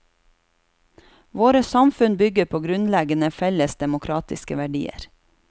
Våre samfunn bygger på grunnleggende felles demokratiske verdier.